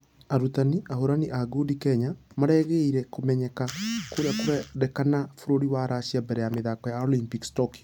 Arutani:Ahũrani a ngundi kenya marageire kũmenyeka kũrĩa kũrendekana bũrũri wa russia mbere ya mĩthako ya olympics tokyo.